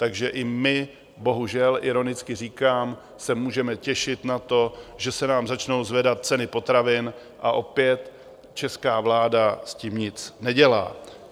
Takže i my, bohužel, ironicky říkám, se můžeme těšit na to, že se nám začnou zvedat ceny potravin, a opět česká vláda s tím nic nedělá.